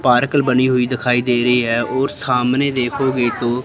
park बनी हुई दिखाई दे रही है और सामने देखोगे तो--